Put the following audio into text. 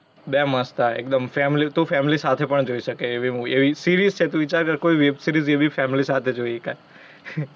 બે મસ્ત હેં એકદમ family તું family સાથે પણ જોઇ શકે એવી movie એવી series છે. તુ વિચાર કર કોઇ web series એવી family સાથે જોઇ શકાય.